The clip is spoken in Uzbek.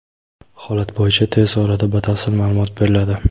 Holat bo‘yicha tez orada batafsil ma’lumot beriladi.